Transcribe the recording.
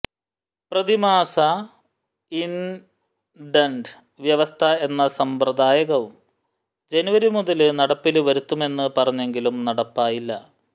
പ്രതിമാസ ഇന്ഡന്റ് വ്യവസ്ഥ എന്ന സമ്പ്രദായവും ജനുവരി മുതല് നടപ്പില് വരുത്തുമെന്ന് പറഞ്ഞെങ്കിലും നടപ്പായില്ല